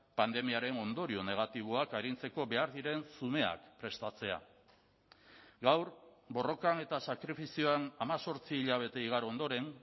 pandemiaren ondorio negatiboak arintzeko behar diren zumeak prestatzea gaur borrokan eta sakrifizioan hemezortzi hilabete igaro ondoren